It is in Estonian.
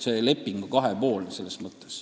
Leping on kahepoolne.